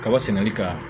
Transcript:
Kaba sɛnɛli ka